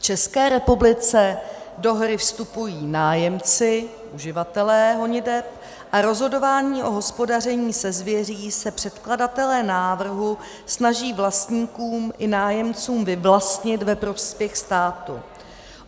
V České republice do hry vstupují nájemci - uživatelé honiteb - a rozhodování o hospodaření se zvěří se předkladatelé návrhu snaží vlastníkům i nájemcům vyvlastnit ve prospěch státu.